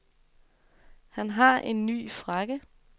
Han har en ny frakke.